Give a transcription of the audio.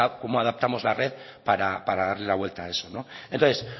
cómo adaptamos la red para darle la vuelta a eso entonces